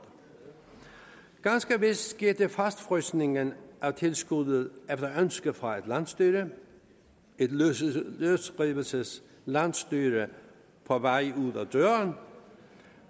ganske vist skete fastfrysningen af tilskuddet efter ønske fra landsstyret et løsrivelseslandsstyre på vej ud ad døren